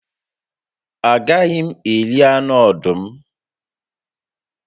A gaghị m eri anụ ọdụm